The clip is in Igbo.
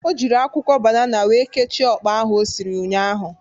O jịrị akwụkwọ banana wee kechie ọkpa ahụ o siri ụnyaahụ.